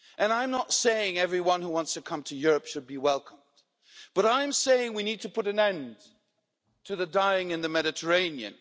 I am not saying everyone who wants to come to Europe should be welcomed, but I am saying we need to put an end to the dying in the Mediterranean.